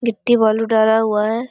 गिट्टी बालू डाला हुआ है।